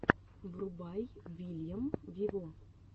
врубай вильям виво